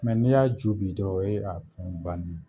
n'i y'a ju bi dɔrɔn o ye a fɛnw ban